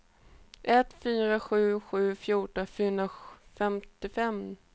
ett fyra sju sju fjorton fyrahundrafemtiofem